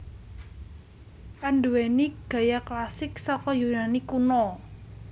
Anduwèni gaya klasik saka Yunani Kuna